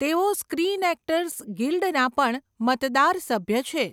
તેઓ screen actors ગિલ્ડના પણ મતદાર સભ્ય છે.